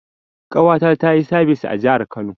Ƙawata tayi sabis a jahar Kano